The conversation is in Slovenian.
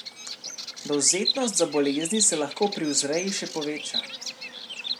Dovzetnost za bolezni se lahko pri vzreji še poveča.